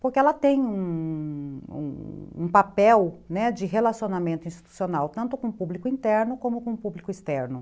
Porque ela tem um um um papel de relacionamento institucional, tanto com o público interno como com o público externo.